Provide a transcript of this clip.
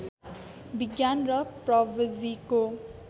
विज्ञान र प्रविधिको